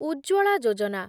Ujjwala Yojana